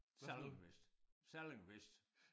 Sallingwhist sallingwhist